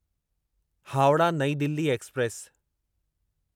Howrah New Delhi express